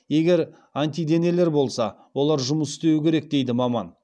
егер антиденелер болса олар жұмыс істеуі керек дейді маман